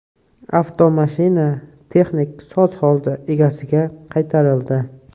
Avtomashina texnik soz holda egasiga qaytarildi.